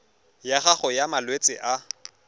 ya gago ya malwetse a